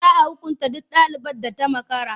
Za a hukunta duk ɗalibar da ta makara.